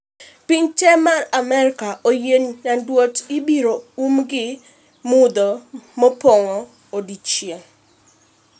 Pinje te mag Amerka e yo nyanduat ibiro um gi mudho mopong' odiechieng'